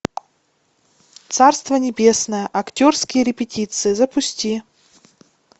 царство небесное актерские репетиции запусти